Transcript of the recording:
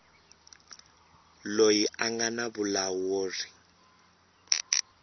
loyi a nga na vulawuri